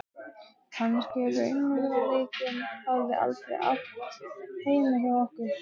Kannski raunveruleikinn hafi aldrei átt heima hjá okkur.